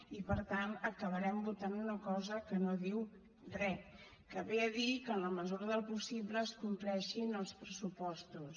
i per tant acabarem votant una cosa que no diu re que ve a dir que en la mesura del possible es compleixin els pressupostos